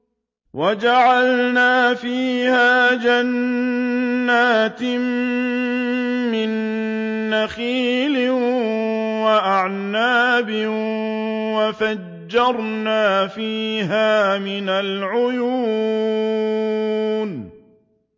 وَجَعَلْنَا فِيهَا جَنَّاتٍ مِّن نَّخِيلٍ وَأَعْنَابٍ وَفَجَّرْنَا فِيهَا مِنَ الْعُيُونِ